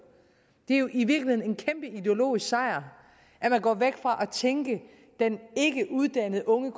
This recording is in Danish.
det er jo i virkeligheden en kæmpe ideologisk sejr at man går væk fra at tænke den ikkeuddannede unge